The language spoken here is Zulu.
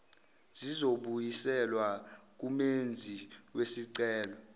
zizobuyiselwa kumenzi wesicelo